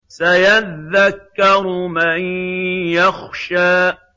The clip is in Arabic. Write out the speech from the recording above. سَيَذَّكَّرُ مَن يَخْشَىٰ